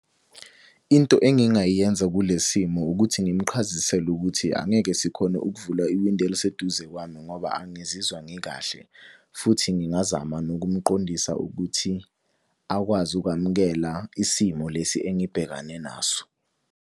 Into engingayenza kule simo ukuthi ngimuqhazisele ukuthi angeke sikhone ukuvula iwindi eliseduze kwami ngoba angizizwa ngikahle. Futhi ngingazama nokumqondisa ukuthi akwazi ukwamukela isimo lesi engibhekane naso.